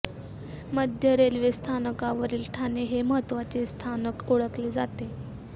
मध्य रेल्वे स्थानकावरील ठाणे हे महत्वाचे स्थानक ओळखले जाते